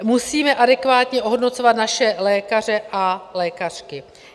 Musíme adekvátně ohodnocovat naše lékaře a lékařky.